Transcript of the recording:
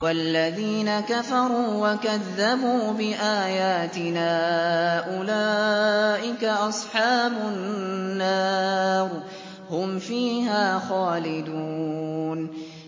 وَالَّذِينَ كَفَرُوا وَكَذَّبُوا بِآيَاتِنَا أُولَٰئِكَ أَصْحَابُ النَّارِ ۖ هُمْ فِيهَا خَالِدُونَ